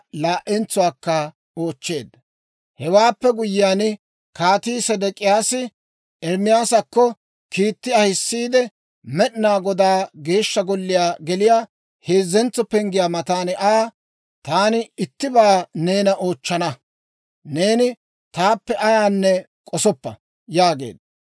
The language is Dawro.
Hewaappe guyyiyaan, Kaatii Sedek'iyaasi Ermaasakko kiitti ahisiide, Med'inaa Goday Geeshsha Golliyaa geliyaa heezzentso penggiyaa matan Aa, «Taani ittibaa neena oochchana. Neeni taappe ayaanne k'osoppa» yaageedda.